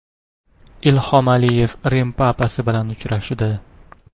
Ilhom Aliyev Rim papasi bilan uchrashdi.